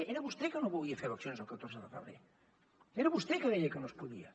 era vostè que no volia fer eleccions el catorze de febrer era vostè que deia que no es podia